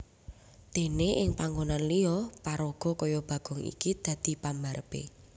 Déné ing panggonan liya paraga kaya Bagong iki dadi pambarepé